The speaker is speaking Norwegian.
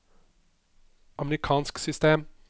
amerikansk system